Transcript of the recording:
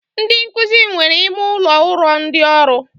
Ndị nkụzi nwere ime ụlọ ụrọ ndị ọrụ